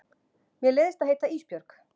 Mér leiðist að heita Ísbjörg.